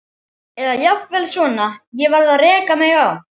Eða jafnvel svona: Ég varð að reka mig á.